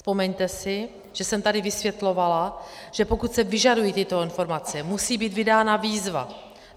Vzpomeňte si, že jsem tady vysvětlovala, že pokud se vyžadují tyto informace, musí být vydána výzva.